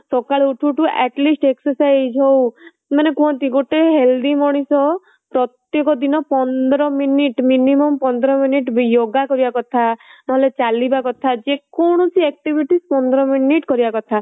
ସକାଳୁ ଉଠୁ ଉଠୁ atleast exercise ହଉ ମାନେ କୁହନ୍ତି ଗୋଟେ healthy ମଣିଷ ପ୍ରତେକ ଦିନ ପନ୍ଦର minute minimum ପନ୍ଦର minute ବି ୟୋଗା କରିବା କଥା ନ ହେଲେ ଚାଲିବା କଥା ଯେ କୋଣସି activity ପନ୍ଦର minute କରିବା କଥା